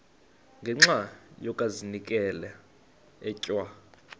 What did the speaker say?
ngenxa yokazinikela etywa